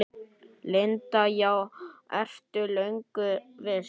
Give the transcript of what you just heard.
Linda: Já, ertu löngu viss?